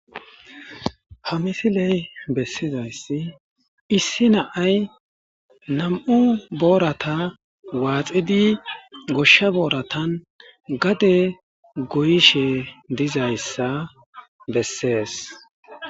Ha misiley bessizaysi issi na'ay nam'u boorata waaxxidi goshsha booratan gade goyishe dizayssa bessees.